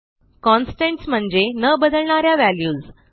constants म्हणजे न बदलणा या व्हॅल्यूज